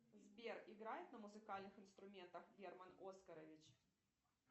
сбер играет на музыкальных инструментах герман оскарович